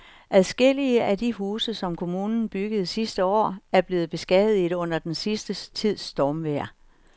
Adskillige af de huse, som kommunen byggede sidste år, er blevet beskadiget under den sidste tids stormvejr.